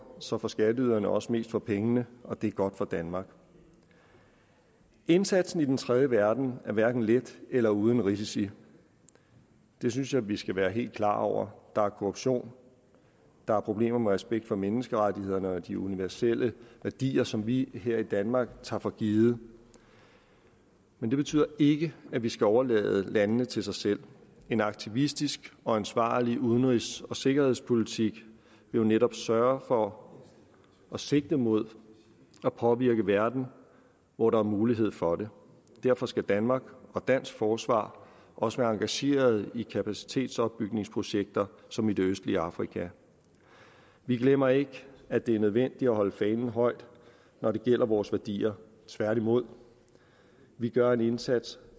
så får skatteyderne også mest for pengene og det er godt for danmark indsatsen i den tredje verden er hverken let eller uden risici det synes jeg vi skal være helt klar over der er korruption der er problemer med respekt for menneskerettighederne og de universelle værdier som vi her i danmark tager for givet men det betyder ikke at vi skal overlade landene til sig selv en aktivistisk og ansvarlig udenrigs og sikkerhedspolitik vil jo netop sørge for at sigte mod at påvirke verden hvor der er mulighed for det derfor skal danmark og dansk forsvar også være engageret i kapacitetsopbygningsprojekter som i det østlige afrika vi glemmer ikke at det er nødvendigt at holde fanen højt når det gælder vores værdier tværtimod vi gør en indsats